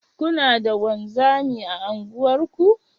Kuna da wanzami a unguwarku?